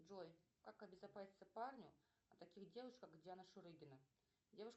джой как обезопаситься парню от таких девушек как диана шурыгина